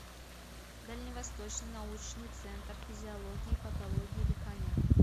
дальневосточный научный центр физиологии и патологии дыхания